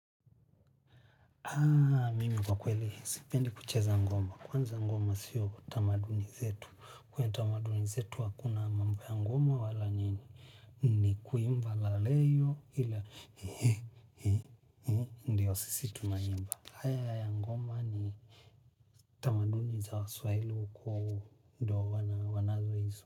Aaaa, mimi kwa kweli, sipendi kucheza ngoma. Kwanza ngoma sio tamaduni zetu. Kwenye tamaduni zetu hakuna mambo ya ngoma wala nini. Ni kuimba la leyo ila hii hii. Ndiyo sisi tunaimba. Haya ya ngoma ni tamaduni za waswaili kuhu. Ndio wanazo izo.